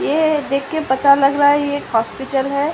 ये देख के पता लग रहा है। ये एक हॉस्पिटल है।